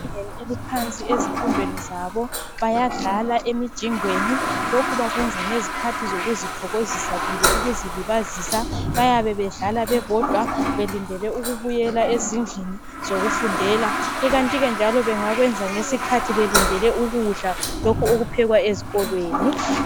Abantwana abasezingeni eliphansi ezifundweni zabo, bayadlala emijingweni lokhu bakwenza ngezikhathi zokuzithokozisa kumbe ukuzilibazisa bayabe bedlala bebodwa belindele ukubuyela ezindlini zokufundela, ikanti ke bengakwenza belindele ukudla lokhu okuphekwa ezikolweni.